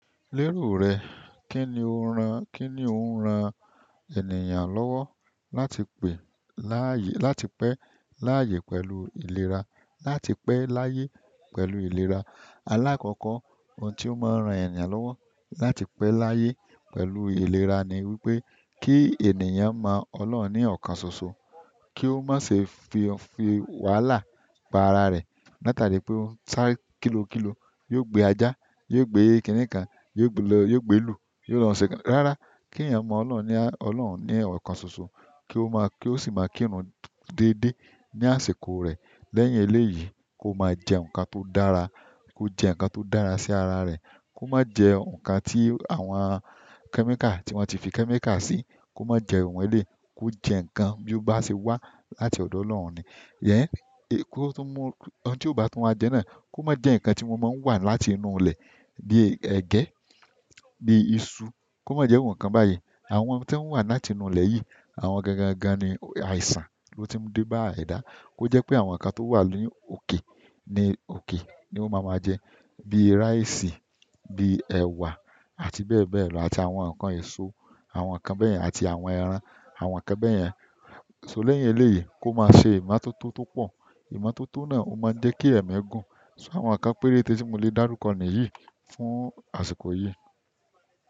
Lérò rẹ, kí ni o ran, kí ni o ń ran ènìyàn lọ́wọ́ láti pè láàyè, láti pẹ́ láàyè pẹ̀lú ìlera, láti pẹ́ láyé pẹ̀lú ìlera? Alákọ̀ọ́kọ́ ohun tí ó máa ń ran ènìyàn lọ́wọ́ láti pẹ́ láyé pẹ̀lú ìlera ni wípé kí ènìyàn mọ Ọlọ́run ní ọ̀kan ṣoṣo, kí ó má ṣe fi, fi wàhálà pa ara rẹ̀, látàrí pé ó ń sá kílòkílò, yóò gbé ajá, yóò gbé kinikan, yóò gbé lo yóò gbe lu, yo ma ṣe-- rárá, kí ènìyàn mọ Ọlọ́run ní, Ọlọ́run ní ẹwà kan ṣoṣo, kí ó má, kí ó sì máa kírun dédé ní àsìkò rẹ̀. Lẹ́yìn eléyìí kó máa jẹ nǹkan tó dára, kó jẹ nǹkan tó dára sí ara rẹ̀, kó má jẹ nǹkan tí àwọn kẹ́míkà, tí wọ́n ti fi kẹ́míkà sí, kó má jẹ ohun èlè, kó jẹ nǹkan bí ó bá ṣe wá láti ọ̀dọ̀ Ọlọ́run ni. Then ko tun ma ro nkan ti o wa je, ko ma je nkan ti won ma n wa láti inú ile bi ege, bi isu ko ma je àwọn nkan bayen. Àwọn oun ti won wa láti inú ile yi, àwọn gangan ni àìsàn to n deba eda. Ó jẹ́ pé àwọn nǹkan tó wà ní òkè, ní òkè ni ó máa máa jẹ, bí i ráìsì, bí i ẹwà àti bẹ́ẹ̀ bẹ́ẹ̀ lọ àti àwọn nǹkan èso, àwọn nǹkan bẹ́ẹ̀ yẹn àti àwọn ẹran, àwọn nǹkan bẹ́ẹ̀ yẹn. So lẹ́yìn eléyìí kó máa ṣe ìmọ́tótó tó pọ̀, ìmọ́tótó náà ó máa jẹ́ kí ẹ̀mẹ̀ gùn. So àwọn nǹkan péréte tí mo le dárúkọ nìyí fún àsìkò yìí.